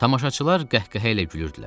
Tamaşaçılar qəhqəhə ilə gülürdülər.